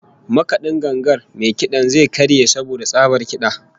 Makad'in gangar mai kid'an zai karye saboda tsabar kid'a